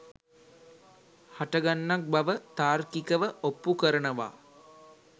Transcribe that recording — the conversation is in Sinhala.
හටගන්නක් බව තාර්කිකව ඔප්පු කරනවා